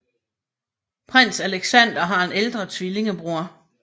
Prins Aleksandar har en ældre tvillingebror